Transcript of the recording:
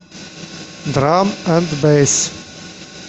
драм энд бэйс